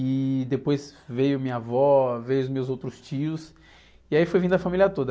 E depois veio minha avó, veio os meus outros tios, e aí foi vindo a família toda.